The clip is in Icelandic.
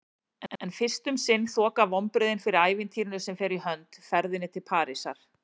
En fyrst um sinn þoka vonbrigðin fyrir ævintýrinu sem fer í hönd: ferðinni til Parísar.